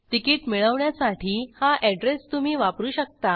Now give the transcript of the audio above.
ticket मिळवण्यासाठी हा address तुम्ही वापरू शकता